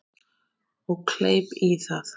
Og kleip í það.